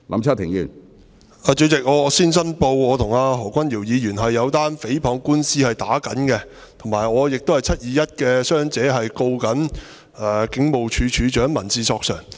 主席，我先申報我與何君堯議員正在打一宗誹謗官司，而且我亦是"七二一"事件中的傷者，正在控告警務處處長，提出民事索償。